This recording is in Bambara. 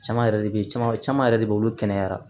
Caman yɛrɛ de bɛ caman caman yɛrɛ de be yen olu kɛnɛyara